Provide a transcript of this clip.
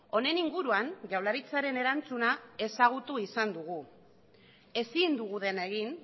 honen inguruan jaurlaritzaren erantzuna ezagutu izan dugu ezin dugu dena egin